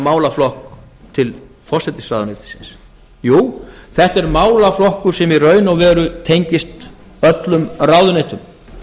málaflokk til forsætisráðuneytisins jú þetta er málaflokkur sem í raun og veru tengist öllum ráðuneytum